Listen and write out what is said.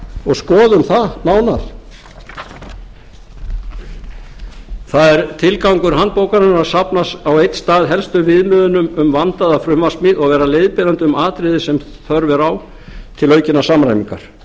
og skoðum það nánar það er tilgangur handbókarinnar að safna á einn stað helstu viðmiðunum um vandaða frumvarpssmíð og vera leiðbeinandi um atriði sem þörf er á til aukinnar samræmingar